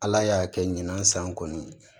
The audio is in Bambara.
Ala y'a kɛ ɲinan san kɔni